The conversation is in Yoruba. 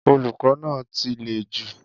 Olukọ na ti le ju